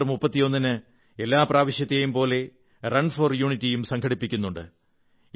October 31 ന് എല്ലാ പ്രാവശ്യത്തെയും പോലെ റൺ ഫോർ യൂണിറ്റിയും സംഘടിപ്പിക്കുന്നുണ്ട്